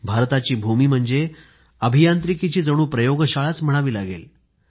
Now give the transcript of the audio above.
भारताची भूमी म्हणजे अभियांत्रिकीची जणू प्रयोगशाळाच म्हणावी लागेल